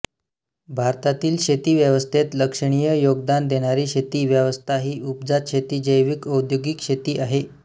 भारतातील शेतीव्यवस्थेत लक्षणीय योगदान देणारी शेती व्यवस्था ही उपजत शेती जैविक औद्योगिक शेती आहे